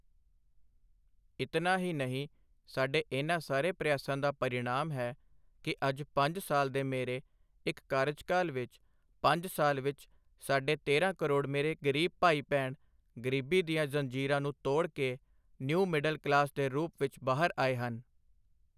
ਇਤਨਾ ਹੀ ਨਹੀਂ, ਸਾਡੇ ਇਨ੍ਹਾਂ ਸਾਰੇ ਪ੍ਰਯਾਸਾਂ ਦਾ ਪਰਿਣਾਮ ਹੈ ਕਿ ਅੱਜ ਪੰਜ ਸਾਲ ਦੇ ਮੇਰੇ ਇੱਕ ਕਾਰਜਕਾਲ ਵਿੱਚ, ਪੰਜ ਸਾਲ ਵਿੱਚ ਸਾਢੇ ਤੇਰਾਂ ਕਰੋੜ ਮੇਰੇ ਗ਼ਰੀਬ ਭਾਈ ਭੈਣ ਗ਼ਰੀਬੀ ਦੀਆਂ ਜ਼ੰਜੀਰਾਂ ਨੂੰ ਤੋੜ ਕੇ ਨਿਊ ਮਿਡਲ ਕਲਾਸ ਦੇ ਰੂਪ ਵਿੱਚ ਬਾਹਰ ਆਏ ਹਨ।